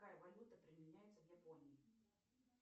какая валюта применяется в японии